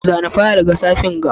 Zana fayil ga safen ga.